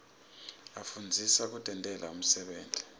asifundzisa kutentela umsebenti